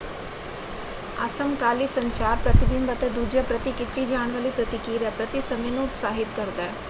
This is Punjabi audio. ਅਸਮਕਾਲੀ ਸੰਚਾਰ ਪ੍ਰਤੀਬਿੰਬ ਅਤੇ ਦੂਜਿਆਂ ਪ੍ਰਤੀ ਕੀਤੀ ਜਾਣ ਵਾਲੀ ਪ੍ਰਤੀਕਿਰਿਆ ਪ੍ਰਤੀ ਸਮੇਂ ਨੂੰ ਉਤਸਾਹਿਤ ਕਰਦਾ ਹੈ।